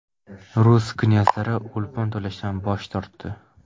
Rus knyazliklari o‘lpon to‘lashdan bosh tortdi.